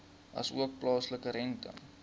asook plaaslike rente